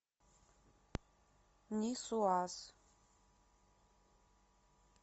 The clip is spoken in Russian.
нисуаз